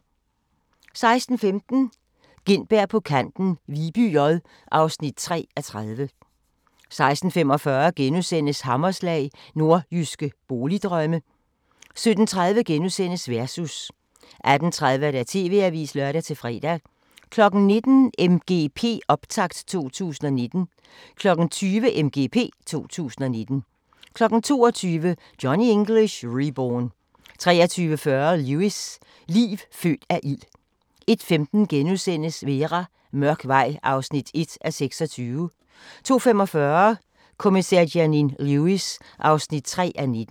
16:15: Gintberg på kanten – Viby J (3:30) 16:45: Hammerslag – Nordjyske boligdrømme * 17:30: Versus * 18:30: TV-avisen (lør-fre) 19:00: MGP Optakt 2019 20:00: MGP 2019 22:00: Johnny English Reborn 23:40: Lewis: Liv født af ild 01:15: Vera: Mørk vej (1:26)* 02:45: Kommissær Janine Lewis (3:19)